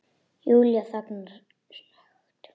Júlía þagnar snöggt.